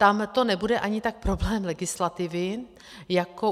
Tam to nebude ani tak problém legislativy, jako...